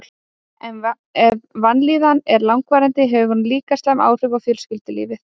Ef vanlíðanin er langvarandi hefur hún líka slæm áhrif á fjölskyldulífið.